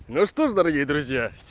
ну что ж дорогие друзья